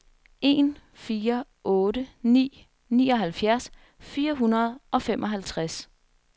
en fire otte ni nioghalvfjerds fire hundrede og femoghalvtreds